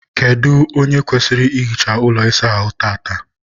kedụ onye kwesịrị ihicha ụlọ ịsa ahụ tata?